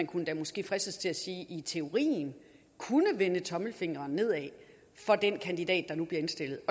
kunne måske fristes til at sige i teorien vende tommelfingeren nedad af den kandidat der nu bliver indstillet